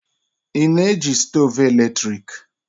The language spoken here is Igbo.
Ị na eji stoovu eletrik?